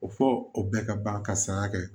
O fɔ o bɛɛ ka ban ka saya kɛ